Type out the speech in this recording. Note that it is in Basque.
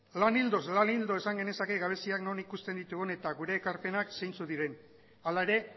lan ildoz lan ildo esan genezake gabeziak non ikusten ditugu eta gure ekarpenak zeintzuk diren hala ere